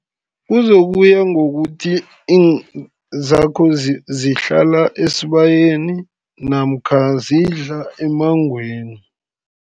Kuzokuya ngokuthi, zakho zihlala esibayeni, namkha zidla emmangweni.